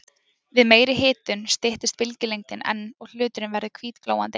Við meiri hitun styttist bylgjulengdin enn og hluturinn verður hvítglóandi.